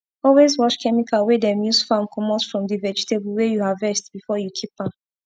always wash chemical wey dem use farm comot from d vegetable wey u harvest before u keep am